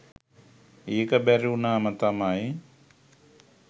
එක බැරිවුණාම තමයි